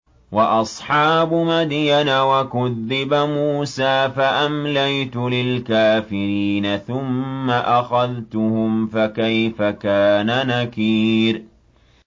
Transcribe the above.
وَأَصْحَابُ مَدْيَنَ ۖ وَكُذِّبَ مُوسَىٰ فَأَمْلَيْتُ لِلْكَافِرِينَ ثُمَّ أَخَذْتُهُمْ ۖ فَكَيْفَ كَانَ نَكِيرِ